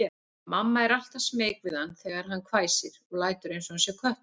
Mamma er alltaf smeyk við hann þegar hann hvæsir og lætur einsog hann sé köttur.